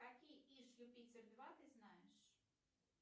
какие иж юпитер два ты знаешь